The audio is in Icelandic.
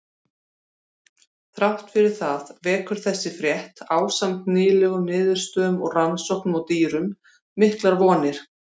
Þrátt fyrir það vekur þessi frétt, ásamt nýlegum niðurstöðum úr rannsóknum á dýrum, miklar vonir.